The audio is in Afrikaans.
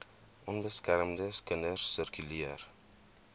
onbeskermde kinders sirkuleer